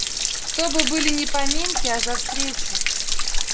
то бы были не поминки а за встречу